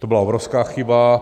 To byla obrovská chyba.